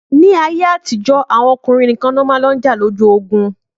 Ni ayé àtijọ́ àwọn ọkùnrin nìkan ni wọn máa ń lò jà lójú ogun